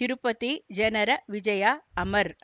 ತಿರುಪತಿ ಜನರ ವಿಜಯ ಅಮರ್